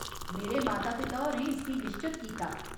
मेरे माता पिता होरें इसगी निश्चत कीता।